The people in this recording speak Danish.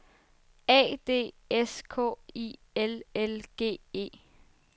A D S K I L L G E